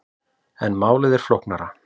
En málið er flóknara.